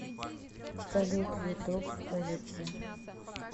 салют ютуб улицы